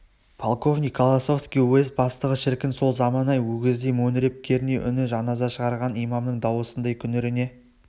полковник колосовский уезд бастығы шіркін сол заман-ай өгіздей мөңіреп керней үні жаназа шығарған имамның дауысындай күңірене